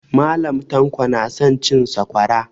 Mallam tanko na son cin sakwara